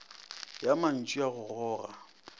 ya mantšu ya go goga